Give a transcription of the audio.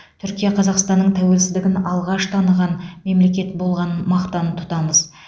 түркия қазақстанның тәуелсіздігін алғаш таныған мемлекет болғанын мақтан тұтамыз